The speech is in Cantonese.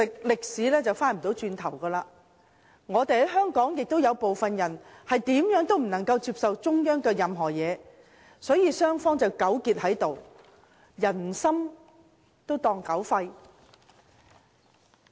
歷史無法回頭，而香港確實有些人無論如何也不接受與中央有關的一切，雙方便糾結在此，把人心當作狗肺。